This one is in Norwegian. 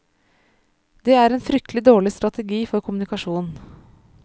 Det er en fryktelig dårlig strategi for kommunikasjon.